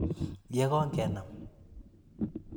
ye kongenam.